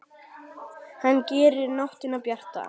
Hann gerir nóttina bjarta.